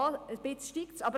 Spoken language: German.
Ein wenig steigt es;